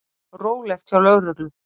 Rólegt hjá lögreglu